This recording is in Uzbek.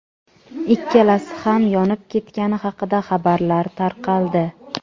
ikkalasi ham yonib ketgani haqida xabarlar tarqaldi.